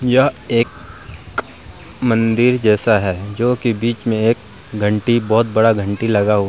यह एक मंदिर जैसा है जो की बीच में एक घंटी बहुत बड़ा घंटी लगा --